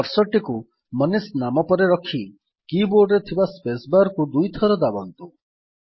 cursor ଟିକୁ ମନିଷ ନାମ ପରେ ରଖି କୀ ବୋର୍ଡରେ ଥିବା spacebarକୁ ଦୁଇଥର ଦାବନ୍ତୁ